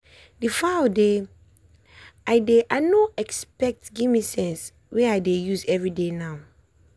the foul dey i dey i no expect give me sense wey i dey use every day now.